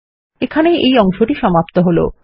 এখানেই এই অংশটি সমাপ্ত হলো